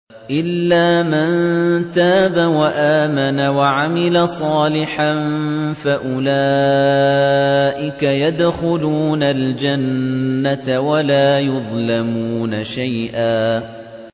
إِلَّا مَن تَابَ وَآمَنَ وَعَمِلَ صَالِحًا فَأُولَٰئِكَ يَدْخُلُونَ الْجَنَّةَ وَلَا يُظْلَمُونَ شَيْئًا